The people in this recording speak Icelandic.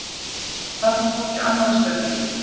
Þarna tók ég annað stökkið